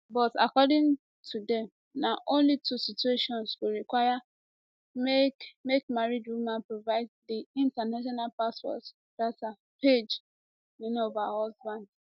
but according to dem na only two situations go require make make married woman provide di international passport data pagenin of her husband